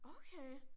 Okay